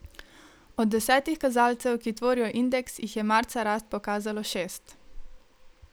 Od desetih kazalcev, ki tvorijo indeks, jih je marca rast pokazalo šest.